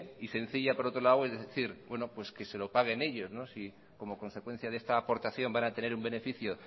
y sencilla por otro lado es decir que se lo paguen ellos si como consecuencia de esta aportación van a tener un beneficio